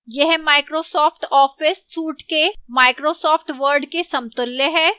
यह microsoft office suite के microsoft word के समतुल्य है